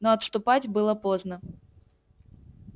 но отступать было поздно